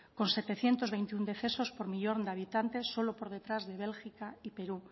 con setecientos veintiuno decesos por millón de habitante solo por detrás de bélgica y perú